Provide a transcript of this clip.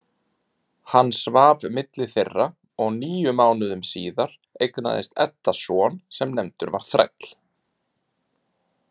Hann svaf milli þeirra og níu mánuðum síðar eignaðist Edda son sem nefndur var Þræll.